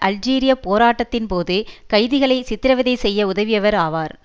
அல்ஜீரியப் போராட்ட த்தின் போது கைதிகளை சித்திரவதை செய்ய உதவியவர் ஆவார்